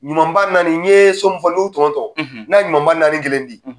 Ɲumanba naani n'i ye so min fɔ n'u ye n'a ye ɲumanba naani kelen di.